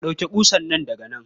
Ɗauke ƙusan nan daga nan.